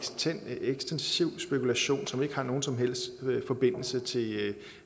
ekstensiv spekulation som ikke har nogen som helst forbindelse til